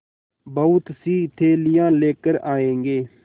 बहुतसी थैलियाँ लेकर आएँगे